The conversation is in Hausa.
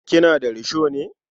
Kina da risho ne?